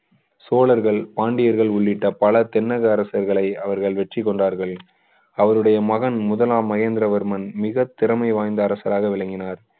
தோழர்கள் சோழர்கள் பாண்டியர்கள் உள்ளிட்ட பல தென்னக அரசுகளை அவர்கள் வெற்றி கொண்டார்கள் அவருடைய மகன் முதலாம் மகேந்திரவர்மன் மிக திறமை வாய்ந்த அரசராக விளங்கினார்